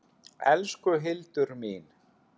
Elsku Hildur mín.